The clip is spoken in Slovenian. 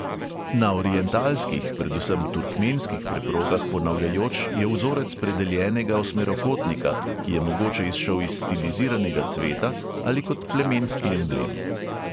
Na orientalskih, predvsem turkmenskih preprogah ponavljajoč je vzorec predeljenega osmerokotnika, ki je mogoče izšel iz stiliziranega cveta ali kot plemenski emblem.